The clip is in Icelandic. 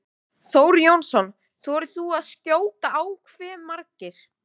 Þór Jónsson: Þorir þú að skjóta á hve margir?